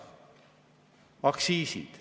Aktsiisid.